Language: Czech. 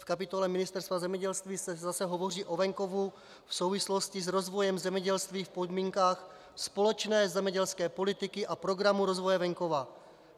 V kapitole Ministerstva zemědělství se zase hovoří o venkovu v souvislosti s rozvojem zemědělství v podmínkách společné zemědělské politiky a Programu rozvoje venkova.